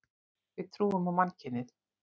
Við trúum á mannkynið.